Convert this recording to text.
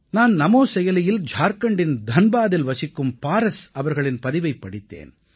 நான் நமோ செயலியில் ஜார்க்கண்டின் தன்பாதில் வசிக்கும் பாரஸ் அவர்களின் பதிவைப் படித்தேன்